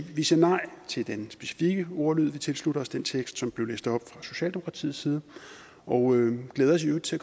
vi siger nej til den specifikke ordlyd vi tilslutter os den tekst som blev læst op fra socialdemokratiets side og glæder os i øvrigt til